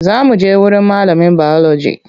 Za muje wurin malamin biology.